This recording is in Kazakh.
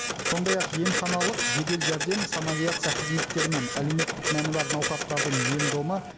сондай ақ емханалық жедел жәрдем санавиация қызметтері мен әлеуметтік мәні бар науқастардың ем домы